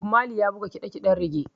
Bob Mali ya buga ƙiɗa ƙiɗen rege.